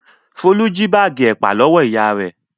Folú jí báágì ẹ̀pà lọ́wọ́ ìyá rẹ̀.